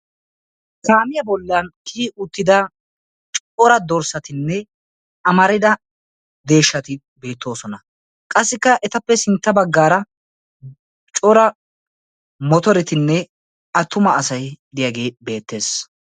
Kaamiya bollan kiyi uttida cora dorssatinne amarida deeshshati beettoosona. Qassika ettape sintta baggaara cora motoretinne attuma asaay diyage beetees.